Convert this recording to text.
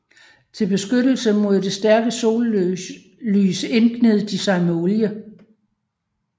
Til beskyttelse mod det stærke sollys indgned de sig med olie